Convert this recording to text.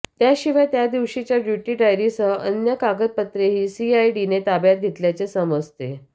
त्याशिवाय त्यादिवशीच्या ड्युटी डायरीसह अन्य कागदपत्रेही सीआयडीने ताब्यात घेतल्याचे समजते